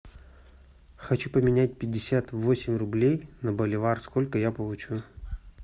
хочу поменять пятьдесят восемь рублей на боливар сколько я получу